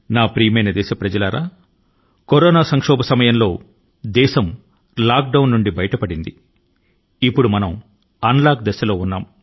నా ప్రియమైన దేశవాసులారా ప్రస్తుత కరోనా సంకట కాలం లో దేశం లాక్ డౌన్ దశ నుండి బయటపడి అన్ లాక్ దశ కు చేరుకొంది